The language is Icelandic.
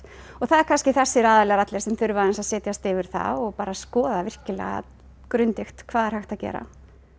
og það eru kannski þessir aðilar allir sem þurfa aðeins að setjast yfir það og bara skoða virkilega grundigt hvað er hægt að gera